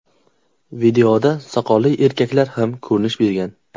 Videoda soqolli erkaklar ham ko‘rinish bergan.